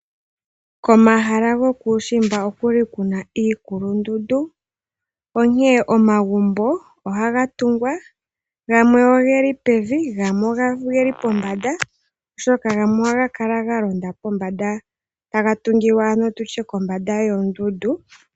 Komahala gokuushimba okuli kuna iikulundundu onkee omagumbo ohaga tungwa, gamwe ogeli pevi gamwe ogeli pombanda, oshoka gamwe ohaga kala galonda pombanda taga tungilwa ano nditye kombanda yoondundu.